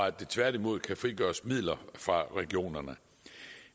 at der tværtimod kan frigøres midler fra regionerne